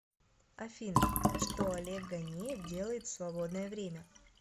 афина что олег ганеев делает в свободное время